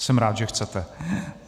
Jsem rád, že chcete.